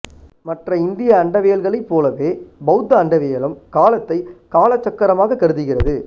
மற்ற இந்திய அண்டவியல்கலை பொலவே பௌத்த அண்டவியலும் காலத்தை காலச்சக்கரமாக கருதுகிறது